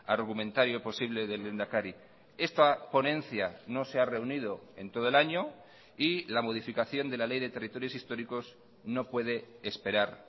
argumentario posible del lehendakari esta ponencia no se ha reunido en todo el año y la modificación de la ley de territorios históricos no puede esperar